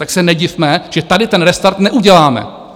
Tak se nedivme, že tady ten restart neuděláme.